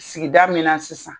Sigida min na sisan.